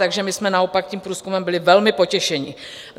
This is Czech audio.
Takže my jsme naopak tím průzkumem byli velmi potěšeni.